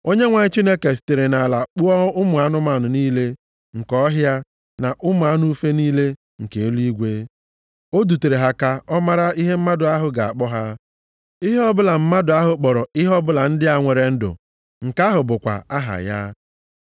Onyenwe anyị Chineke sitere nʼala kpụọ ụmụ anụmanụ niile nke ọhịa na ụmụ anụ ufe niile nke eluigwe. O dutere ha ka ọ mara ihe mmadụ ahụ ga-akpọ ha. Ihe ọbụla mmadụ ahụ kpọrọ ihe ọbụla ndị a nwere ndụ, nke ahụ bụkwa aha ya.